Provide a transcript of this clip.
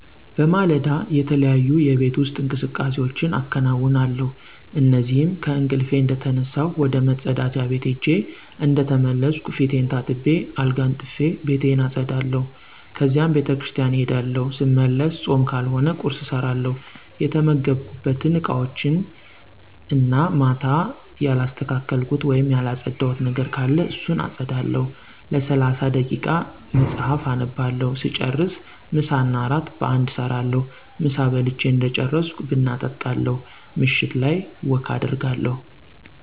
በማለዳ, የተለያዩ የቤት ውስጥ እንቅስቃሴዎች አከነውነለሁ እነዚህም :-ከእንቅልፊ እንደተነሳሁ ወደ መፀዳጃ ቤት ሄጀ እንደተመለስኩ ፊቴን ታጥቤ አልጋ አንጥፊ፣ ቤቴን አፀዳለሁ ከዚያም ቤተክርሰቲያን እሄዳለሁ ሰመለሰ ፆም ካልሆነ ቁርሰ እሰራለሁ፣ የተመገብኩበት እቃወችን እና ማታ ያላሰተካከልኩት ወይም ያለፀዳሁት ነገር ካለ እሱን አፀዳለሁ፣ ለሰላሳ ደይቃ መፀሐፍ አነባለሁ ሰጨርሰ ምሳ እና እራት በአንድ እሰራለሁ፣ ምሳ በልች እደጨረሰኩ ብና እጣለሁ ምሸት ላይ ወክ አደርጋለሁ።